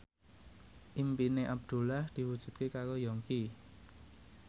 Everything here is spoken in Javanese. impine Abdullah diwujudke karo Yongki